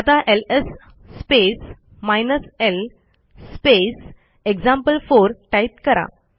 आता LS space hyphen l space example4 type करा